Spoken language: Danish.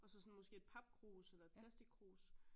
Og så sådan måske et papkrus eller et plastikkrus